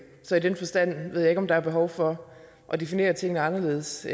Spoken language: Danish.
så i den forstand ved jeg ikke om der er behov for at definere tingene anderledes